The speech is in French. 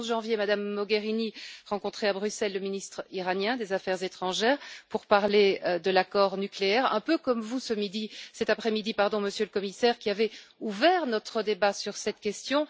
Le 11 janvier, Mme Mogherini rencontrait à Bruxelles le ministre iranien des Affaires étrangères pour parler de l'accord nucléaire, un peu comme vous, cet après midi, Monsieur le Commissaire, qui avez ouvert notre débat sur cette question.